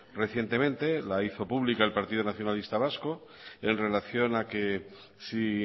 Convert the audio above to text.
recientemente la hizo pública el partido nacionalista vasco en relación a que si